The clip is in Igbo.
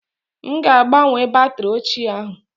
M ga-agbanwe batrị ochie ahụ